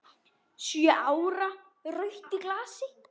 Sjö ára rautt í glasi.